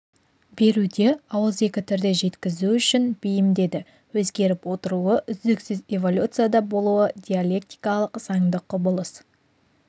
беруде ауызекі түрде жеткізу үшін бейімдеді өзгеріп отыруы үздіксіз эволюцияда болуы диалектикалық заңды құбылыс